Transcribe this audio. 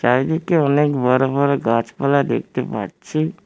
চারিদিকে অনেক বড় বড় গাছপালা দেখতে পাচ্ছি।